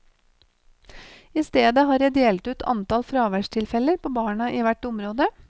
I stedet har jeg delt ut antall fraværstilfeller på barna i hvert område.